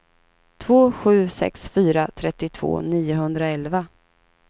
två sju sex fyra trettiotvå niohundraelva